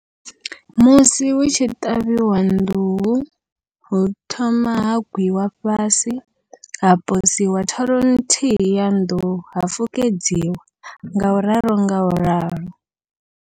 Musi hutshi ṱavhiwa nḓuhu hu thoma ha gwiwa fhasi, ha posiwa thoro nthihi ya nḓuhu ha fukedziwa ngauralo ngauralo.